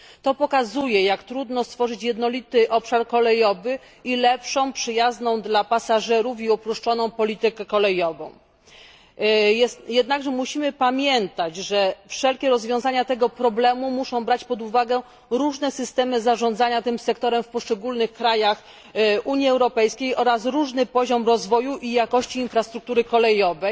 To pokazuje, jak trudno stworzyć jednolity obszar kolejowy i lepszą, przyjazną dla pasażerów i uproszczoną politykę kolejową. Jednakże musimy pamiętać, że wszelkie rozwiązania tego problemu muszą brać pod uwagę różne systemy zarządzania tym sektorem w poszczególnych krajach Unii Europejskiej oraz różny poziom rozwoju i jakości infrastruktury kolejowej.